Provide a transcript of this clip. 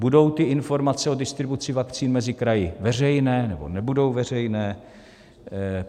Budou ty informace o distribuci vakcín mezi kraji veřejné, nebo nebudou veřejné?